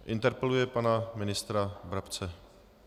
Interpeluje pana ministra Brabce.